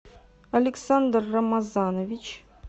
александр рамазанович